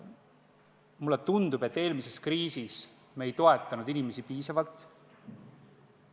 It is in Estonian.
Mulle tundub, et eelmises kriisis me ei toetanud inimesi piisavalt.